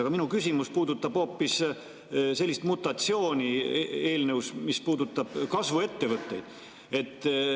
Aga minu küsimus puudutab hoopis sellist mutatsiooni eelnõus, mis puudutab kasvuettevõtteid.